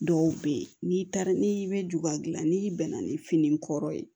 Dɔw bɛ yen n'i taara n'i bɛ juga dilan n'i bɛnna ni fini kɔrɔ ye